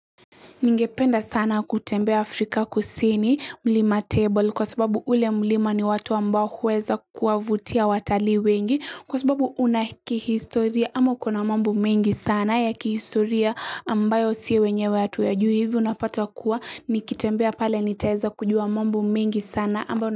Ningependa sana kutembea Afrika kusini mlima table kwa sababu ule mlima ni watu ambao huweza kuwavutia watalii wengi kwa sababu una kihistoria ama ukona mambu mengi sana ya kihistoria ambayo si wenyewe hatuyajui hivo unapata kuwa nikitembea pale nitaeza kujua mambo mengi sana.